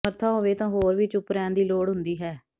ਸਮਰੱਥਾ ਹੋਵੇ ਤਾਂ ਹੋਰ ਵੀ ਚੁੱਪ ਰਹਿਣ ਦੀ ਲੋੜ ਹੁੰਦੀ ਹੈ